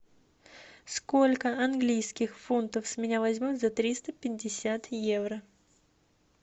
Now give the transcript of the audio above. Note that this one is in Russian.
сколько английских фунтов с меня возьмут за триста пятьдесят евро